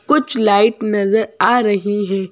कुछ लाइट नजर आ रही हैं।